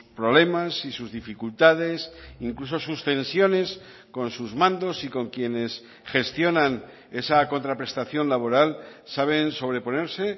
problemas y sus dificultades incluso sus tensiones con sus mandos y con quienes gestionan esa contraprestación laboral saben sobreponerse